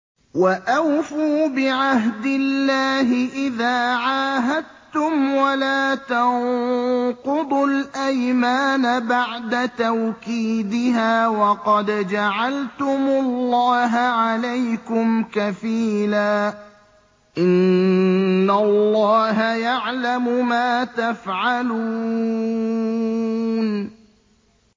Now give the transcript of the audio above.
وَأَوْفُوا بِعَهْدِ اللَّهِ إِذَا عَاهَدتُّمْ وَلَا تَنقُضُوا الْأَيْمَانَ بَعْدَ تَوْكِيدِهَا وَقَدْ جَعَلْتُمُ اللَّهَ عَلَيْكُمْ كَفِيلًا ۚ إِنَّ اللَّهَ يَعْلَمُ مَا تَفْعَلُونَ